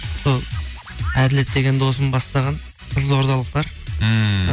сол әділет деген досым бастаған қызылордалықтар ммм